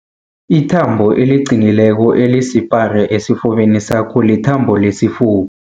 Ithambo eliqinileko elisipara esifubeni sakho lithambo lesifuba.